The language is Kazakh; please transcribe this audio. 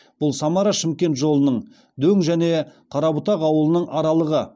бұл самара шымкент жолының дөң және қарабұтақ ауылының аралығы